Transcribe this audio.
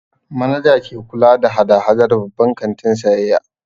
Manaja ke kula da hada-hadar babban kantin sayayya.